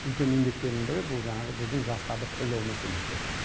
үлкен еңбектерінің бірі бұл жаңағы біздің жастарды қолдау мәселесі